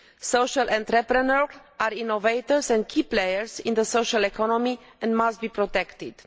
Social entrepreneurs are innovators and key players in the social economy and must be protected.